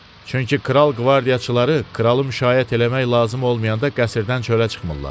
Çünki kral qvardiyaçıları kralı müşayiət eləmək lazım olmayanda qəsrdən çölə çıxmırlar.